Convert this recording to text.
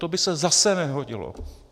To by se zase nehodilo.